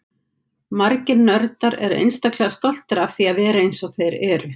Margir nördar eru einstaklega stoltir af því að vera eins og þeir eru.